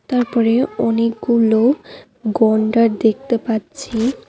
তারপরে অনেকগুলো গণ্ডার দেখতে পাচ্ছি।